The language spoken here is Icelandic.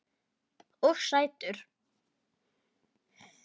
Og sætur.